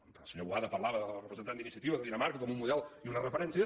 el senyor boada parlava el representant d’iniciativa de dinamarca com un model i una referència